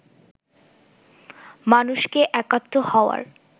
মানুষকে একাত্ম হওয়ার